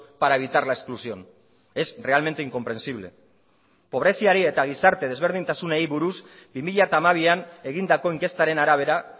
para evitar la exclusión es realmente incomprensible pobreziari eta gizarte desberdintasunei buruz bi mila hamabian egindako inkestaren arabera